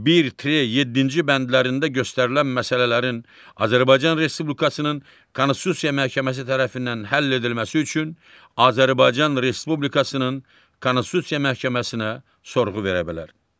Bir, tre, yeddinci bəndlərində göstərilən məsələlərin Azərbaycan Respublikasının Konstitusiya Məhkəməsi tərəfindən həll edilməsi üçün Azərbaycan Respublikasının Konstitusiya Məhkəməsinə sorğu verə bilər.